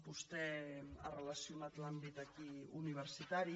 vostè ha relacionat l’àmbit aquí universitari